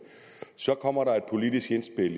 så kommer der et politisk indspil